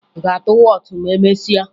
Ị ga-atụ wọọtụ ma emesịa?